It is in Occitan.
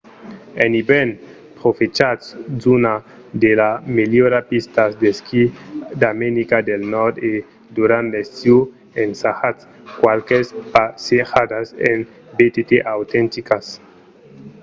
en ivèrn profechatz d'unas de las melhoras pistas d'esquí d’america del nòrd e durant l’estiu ensajatz qualques passejadas en btt autenticas